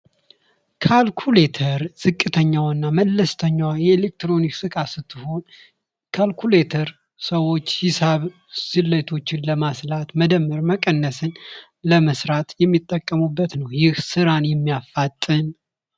ካልኩሌተር ዝቅተኛ እና መለስተኛ የኤሌክትሮኒክስ ዕቃ ስትሆን ካልኩሌተር ሰዎች ሂሳብ ስሌቶችን ለማስላት መደመር ፣ መቀነስን ለመስራት የሚጠቀሙበት ነው ። ይህ ስራን የሚያፋጥን